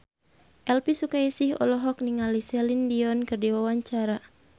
Elvy Sukaesih olohok ningali Celine Dion keur diwawancara